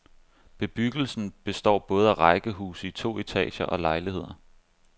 Bebyggelsen består både af rækkehuse i to etager og lejligheder.